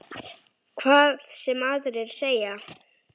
Hvað sem aðrir segja.